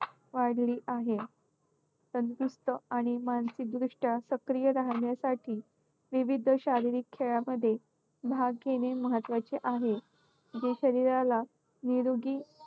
वाढली आहे. तंदुरुस्त आणि मानसिकदृष्ट्या सक्रिय राहण्यासाठी विविध शारीरिक खेळामध्ये भाग घेणे महत्त्वाचे आहे. जे शरीराला निरोगी